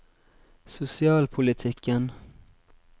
sosialpolitikken